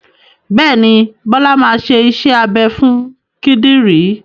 Bẹ́ẹ̀ ni, Bọ́lá máa ṣe iṣẹ́ abẹ fún kìdìrí.